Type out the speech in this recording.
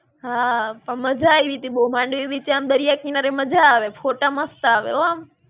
હાં, પણ મજા આયવી તી બહું માંડવી બીચે આમ દરિયા કિનારે મજા આવે. ફોટા મસ્ત આવે હો આમ.